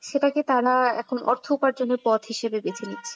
সেটাকে তারা এখন অর্থ উপার্জনের পথ হিসেবে বেছে নিচ্ছে।